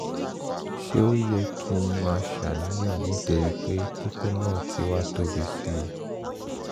ṣé ó yẹ kí n máa ṣàníyàn nítorí pé kókó náà ti wá tóbi sí i?